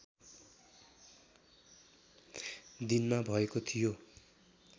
दिनमा भएको थियो